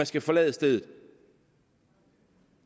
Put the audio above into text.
skal forlade stedet